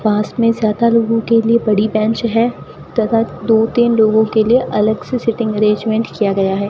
पास में ज्यादा लोगों के लिए बड़ी बेंच है तथा दो तीन लोगों के लिए अलग से सीटिंग अरेंजमेंट किया गया है।